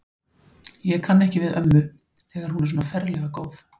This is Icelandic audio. Ég kann ekki við ömmu, þegar hún er svona ferlega góð.